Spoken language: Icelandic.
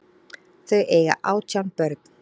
Þau eiga átján börn.